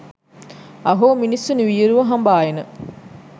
අහෝ මිනිසුනි වියරුව හඹා එන